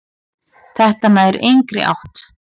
Þetta nær engri átt.